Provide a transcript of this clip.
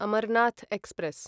Amarnath express